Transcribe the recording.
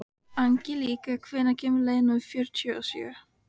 Angelíka, hvenær kemur leið númer fjörutíu og sjö?